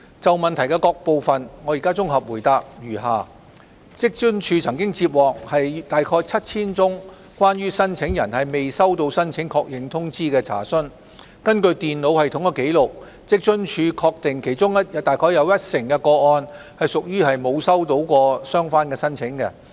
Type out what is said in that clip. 就主體質詢的各部分，我現綜合答覆如下：職津處曾接獲約 7,000 宗關於申請人未收到申請確認通知的查詢，根據電腦系統的紀錄，職津處確定其中約一成的個案屬於沒有收到相關申請。